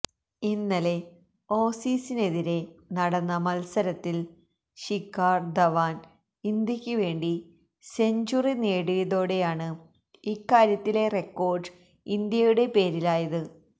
ഇന്നലെ ഓസീസിനെതിരെ നടന്ന മത്സരത്തിൽ ശിഖാർ ധവാൻ ഇന്ത്യയ്ക്ക് വേണ്ടി സെഞ്ചുറി നേടിയതോടെയാണ് ഇക്കാര്യത്തിലെ റെക്കോർഡ് ഇന്ത്യയുടെ പേരിലായത്